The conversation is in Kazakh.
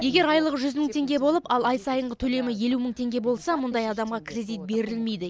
егер айлығы жүз мың теңге болып ал ай сайынғы төлемі елу мың теңге болса мұндай адамға кредит берілмейді